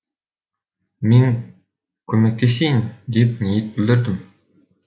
мен көмектесейін деп ниет білдірдім